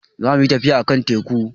Za mu yi tafiya a kan teku